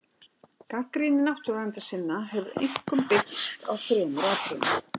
Gagnrýni náttúruverndarsinna hefur einkum byggst á þremur atriðum.